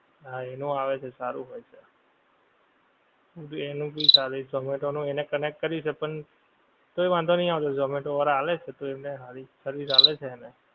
હા એનું આવે છે સારું હોય છે. એનું ભી ચાલે છે ઝોમેટો નું એણે connect કર્યું છે પણ, તોય વાંધો નહિ આવે ઝોમેટો વાળાં આવે છે તોય એમને સારી service આલે છે એને